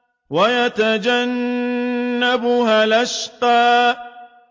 وَيَتَجَنَّبُهَا الْأَشْقَى